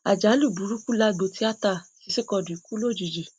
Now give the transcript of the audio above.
àjálù burúkú lágbo tíátá sisi quadri kú lójijì